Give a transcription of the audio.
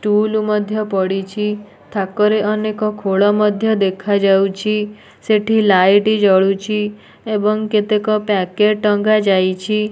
ଟୁଲ ମଧ୍ୟ ପଡ଼ିଛି ଥାକ ରେ ମଧ୍ୟ ଅନେକ ଖୋଳ ଦେଖା ଯାଉଛି ସେଠି ଲାଇଟ୍ ଜଳୁଛି ଏବଂ କେତେକ ପ୍ୟାକେଟ ଟଙ୍ଗା ଯାଇଛି।